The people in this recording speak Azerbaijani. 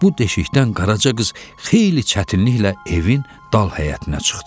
Bu deşikdən Qaraca qız xeyli çətinliklə evin dal həyətinə çıxdı.